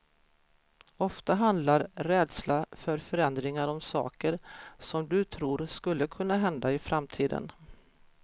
Ofta handlar rädsla för förändringar om saker som du tror skulle kunna hända i framtiden.